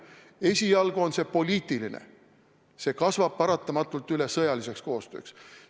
Esialgu on see poliitiline, aga see kasvab paratamatult üle sõjaliseks koostööks.